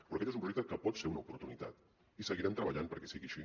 però aquest és un projecte que pot ser una oportunitat i seguirem treballant perquè sigui així